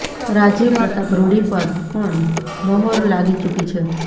રાજીવ પ્રતાપ રૂડી પર પણ મોહર લાગી ચૂકી છે